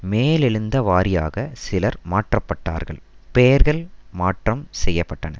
மேலெழுந்தவாரியாக சிலர் மாற்றப்பட்டார்கள் பெயர்கள் மாற்றம் செய்ய பட்டன